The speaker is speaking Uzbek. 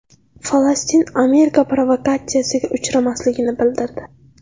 Falastin Amerika provokatsiyasiga uchmasligini bildirdi.